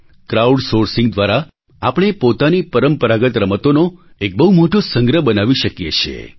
crowd sourcing દ્વારા આપણે પોતાની પરંપરાગત રમતોનો એક બહુ મોટો સંગ્રહ આર્કાઇવ બનાવી શકીએ છીએ